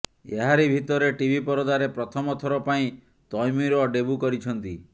ଏହାରି ଭିତରେ ଟିଭି ପରଦାରେ ପ୍ରଥମ ଥର ପାଇଁ ତୈମୁର ଡେବ୍ୟୁ କରିଛନ୍ତି